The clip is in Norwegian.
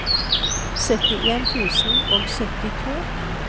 syttien tusen og syttito